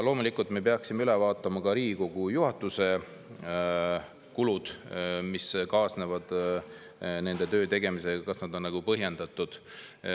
Loomulikult peaksime üle vaatama ka Riigikogu juhatuse kulud, mis kaasnevad nende töö tegemisega – kas need on põhjendatud.